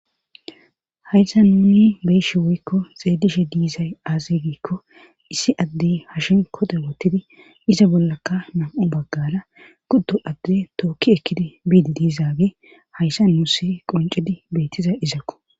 haysa nuni beyshi woykko xeedishe diizay aazigiikko issi addey hashin kode wottidi iza bollaka nam7u baggada guddo adde tookki ekkidi biidi diizaage hayssa muussi qoncidi beettiza izakko